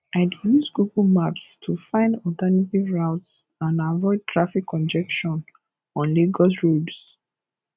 i dey use google maps to find alternative routes and avoid traffic congestion on lagos roads